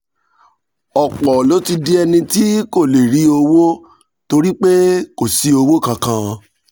ọ̀pọ̀ ló ti di ẹni tí kò lè rí owó torí pé kò sí owó kankan